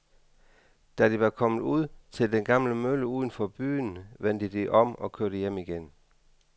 Da de var kommet ud til den gamle mølle uden for byen, vendte de om og kørte hjem igen.